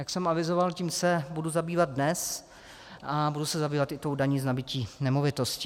Jak jsem avizoval, tím se budu zabývat dnes a budu se zabývat i tou daní z nabytí nemovitosti.